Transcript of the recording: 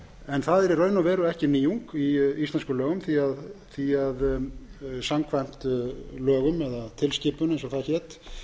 en það er í raun og veru ekki nýjung í íslenskum lögum því samkvæmt lögum og tilskipunum eins og það hét